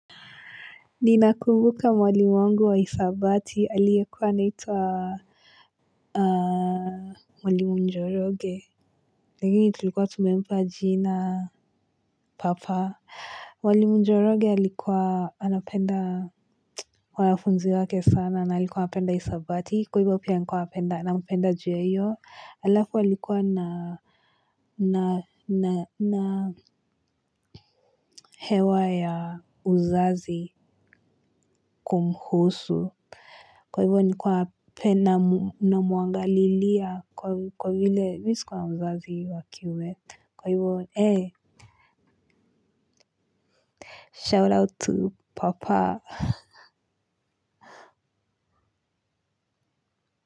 Ninakumbuka mwalimu wangu wa hisabati aliekuwa anaitwa Mwalim Mjoroge, lakini tulikuwa tumempa jina Papa Mwalim joroge alikuwa anapenda wanafunzi wake sana na alikuwa anapenda hisabati kwa hivyo pia nilikuwa apenda na mpenda juweyo halafu alikuwa na na hewa ya uzazi kumhusu, kwa hivyo nilikua penda na muangalilia kwa vile mi sikua na mzazi wa kiume. Kwa hivyo ee shout out to papa.